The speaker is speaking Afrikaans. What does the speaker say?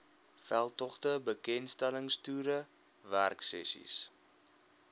veldtogte bekendstellingstoere werksessies